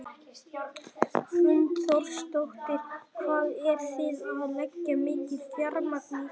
Hrund Þórsdóttir: Hvað eru þið að leggja mikið fjármagn í þetta?